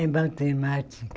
É matemática.